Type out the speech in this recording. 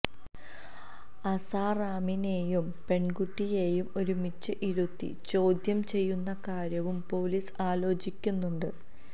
അസാറാമിനെയും പെണ്കുട്ടിയെയും ഒരുമിച്ച് ഇരുത്തി ചോദ്യം ചെയ്യുന്ന കാര്യവും പോലീസ് ആലോചിക്കുന്നുണ്ട്